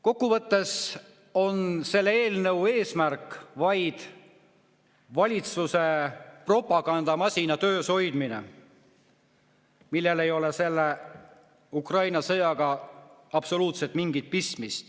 Kokkuvõttes on selle eelnõu eesmärk vaid valitsuse propagandamasina töös hoidmine ja Ukraina sõjaga ei ole sellel absoluutselt mingit pistmist.